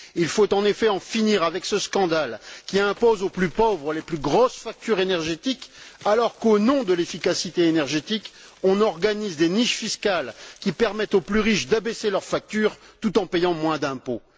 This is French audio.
Il faut en effet en finir avec ce scandale qui impose aux plus pauvres les plus grosses factures énergétiques, alors qu'au nom de l'efficacité énergétique, on organise des niches fiscales qui permettent aux plus riches d'abaisser leurs factures tout en payant moins d'impôts.